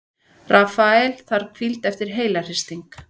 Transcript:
Rafael þarf hvíld eftir heilahristing